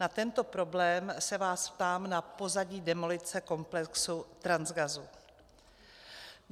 Na tento problém se vás ptám na pozadí demolice komplexu Transgasu.